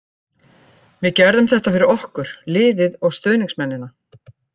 Við gerðum þetta fyrir okkur, liðið og stuðningsmennina.